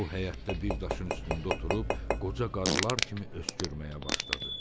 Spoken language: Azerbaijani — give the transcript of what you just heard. O həyətdə bir daşın üstündə oturub, qoca qarular kimi öskürməyə başladı.